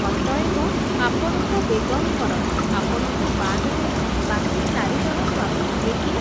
ଅତଏବ ଆପଣଙ୍କ ବେଗମଙ୍କର ଆପଣଙ୍କୁ ବାଦ୍ ଦେଲେ ବାକି ଚାରି ଜଣ ସ୍ୱାମୀ କିଏ କିଏ ।